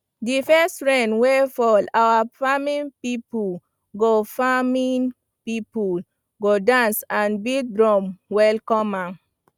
the first rain wey fall our farming people go farming people go dance and beat drum welcome am